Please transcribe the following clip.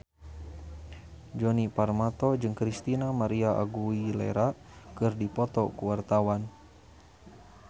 Djoni Permato jeung Christina María Aguilera keur dipoto ku wartawan